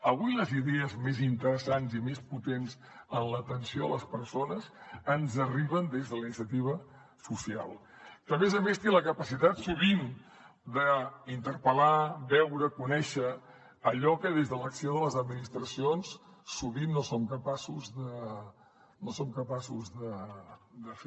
avui les idees més interessants i més potents en l’atenció a les persones ens arriben des de la iniciativa social que a més a més té la capacitat sovint d’interpel·lar veure conèixer allò que des de l’acció de les administracions sovint no som capaços de fer